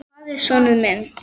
Hvar er sonur minn?